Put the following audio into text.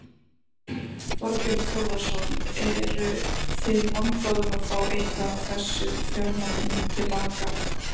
Þorbjörn Þórðarson: Eru þið vongóð um að fá eitthvað af þessum fjármunum til baka?